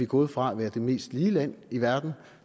gået fra at være det mest lige land i verden